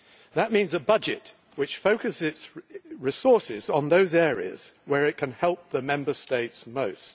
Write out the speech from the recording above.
That means a budget which focuses its resources on those areas where it can help the Member States most.